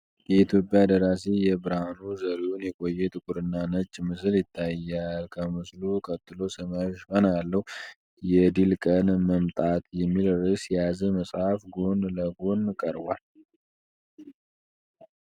የኢትዮጵያ ደራሲ የብርሃኑ ዘሪሁን የቆየ ጥቁርና ነጭ ምስል ይታያል። ከምስሉ ቀጥሎ ሰማያዊ ሽፋን ያለው፣ “የድል ቀን መምጣት” የሚል ርዕስ የያዘ መጽሐፍ ጎን ለጎን ቀርቧል።